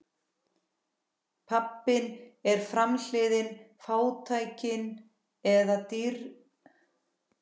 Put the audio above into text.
Pabbinn er framhliðin, fátæktin eða ríkidæmið, álitið eða niðurlægingin.